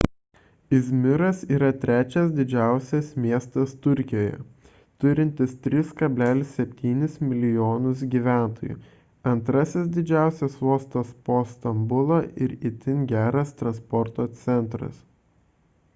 izmiras yra trečias didžiausias miestas turkijoje turintis 3,7 mln gyventojų antras didžiausias uostas po stambulo ir itin geras transporto centras